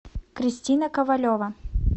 кристина ковалева